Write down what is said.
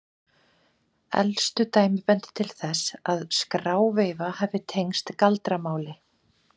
Elstu dæmi benda til þess að skráveifa hafi tengst galdramáli.